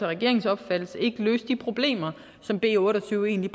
regeringens opfattelse ikke løse de problemer som b otte og tyve egentlig